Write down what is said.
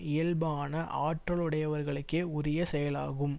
இயல்பான ஆற்றலுடையவருகளுக்கே உரிய செயலாகும்